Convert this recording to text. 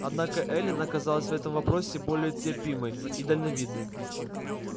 однако эллин оказалась в этом вопросе более терпимой и дальновидной